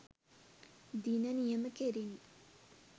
දින නියම කෙරිණි